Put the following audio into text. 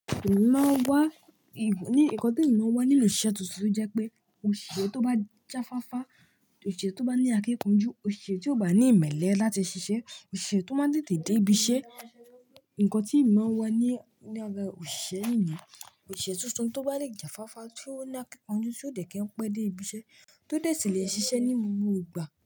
Emi maa n wá, ì ní, ǹkan tí emi maa n wá nínú osiṣẹ́ tuntun jẹ́ pé oṣisé tó bá jáfáfá, oṣisé tó bá ní akínkanjú, oṣisé tí o bá ní ìmẹ́lẹ́ láti ṣiṣẹ́, oṣisé tó máa tètè dé ibi ṣẹ́. Ǹkan tí emi maa n wá ní ní ara òṣìṣẹ́ nìyẹn, osiṣe tuntun tó bá le jàfáfá, tí ó ní akínkanjú, tí ó dè kí n pẹ́ dé ibiṣẹ́, tó dè ṣi lẹ̀ ṣiṣẹ́ ní gbogbo ìgbà.